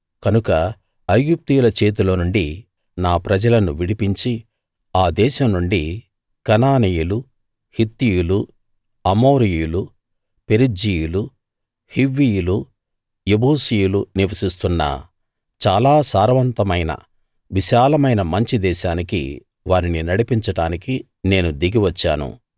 కనుక ఐగుప్తీయుల చేతిలో నుండి నా ప్రజలను విడిపించి ఆ దేశం నుండి కనానీయులు హిత్తీయులు అమోరీయులు పెరిజ్జీయులు హివ్వీయులు యెబూసీయులు నివసిస్తున్న చాలా సారవంతమైన విశాలమైన మంచి దేశానికి వారిని నడిపించడానికి నేను దిగి వచ్చాను